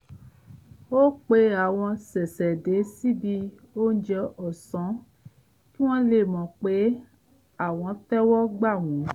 ó pe àwọn ṣẹ̀ṣẹ̀dé síbi óúnjẹ ọ̀sán kí wọ́n lè mọ̀ pé àwọn tẹ́wọ́ gbà wọ́n